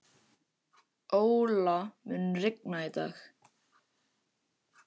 Óla, mun rigna í dag?